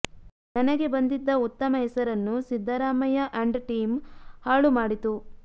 ನನಗೆ ಬಂದಿದ್ದ ಉತ್ತಮ ಹೆಸರನ್ನು ಸಿದ್ದರಾಮಯ್ಯ ಅಂಡ್ ಟೀಂ ಹಾಳು ಮಾಡಿತು